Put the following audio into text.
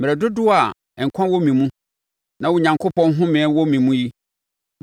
mmerɛ dodoɔ a nkwa wɔ me mu, na Onyankopɔn homeɛ wɔ me mu yi,